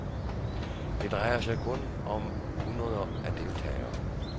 Det drejer sig kun om hundreder af deltagere.